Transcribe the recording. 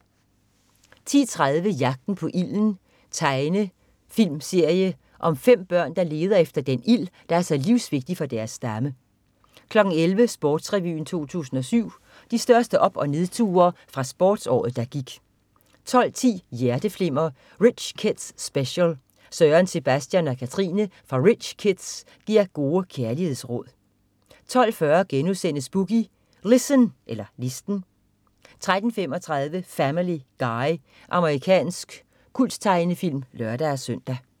10.30 Jagten på ilden. Tegnefilmserie om 5 børn, der leder efter den ild, der er så livsvigtig for deres stamme 11.00 Sportsrevyen 2007. De største op- og nedture fra sportsåret, der gik 12.10 Hjerteflimmer: Rich Kids Special. Søren, Sebastian og Katrine fra Rich Kids giver gode kærlighedsråd 12.40 Boogie Listen* 13.35 Family Guy. Amerikansk kulttegnefilm (lør-søn)